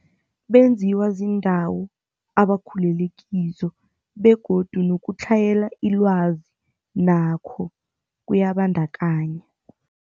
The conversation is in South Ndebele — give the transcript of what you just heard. Benziwa ziindawo abakhulele kizo begodu nokutlhayela ilwazi nakho kuyabandakanya.